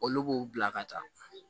Olu b'u bila ka taa